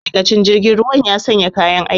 Ma'aikacin jirgin ruwan ya sanya kayan aiki